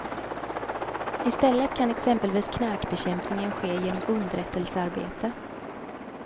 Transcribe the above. I stället kan exempelvis knarkbekämpningen ske genom underrättelsearbete.